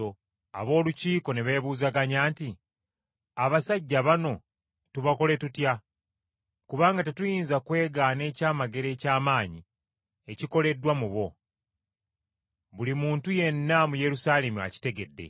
Ab’olukiiko ne beebuuzaganya nti, “Abasajja bano tubakole tutya? Kubanga tetuyinza kwegaana ekyamagero eky’amaanyi ekikoleddwa mu bo; buli muntu yenna mu Yerusaalemi akitegedde.